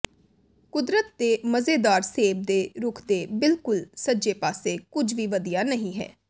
ਕੁਦਰਤ ਦੇ ਮਜ਼ੇਦਾਰ ਸੇਬ ਦੇ ਰੁੱਖ ਦੇ ਬਿਲਕੁਲ ਸੱਜੇ ਪਾਸੇ ਕੁਝ ਵੀ ਵਧੀਆ ਨਹੀਂ ਹੈ